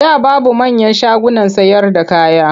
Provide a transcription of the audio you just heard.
A da babu manyan shagunan sayarda kaya.